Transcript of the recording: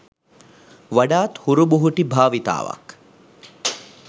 වඩාත් හුරුබුහුටි භාවිතාවක්